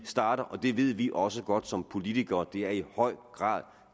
starter og det ved vi også godt som politikere det er i høj grad